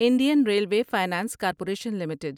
Indian railway finance corporation limited